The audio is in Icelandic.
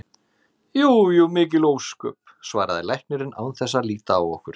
Jú jú, mikil ósköp, svaraði læknirinn án þess að líta á okkur.